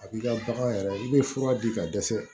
A b'i ka bagan yɛrɛ i bɛ fura di ka dɛsɛ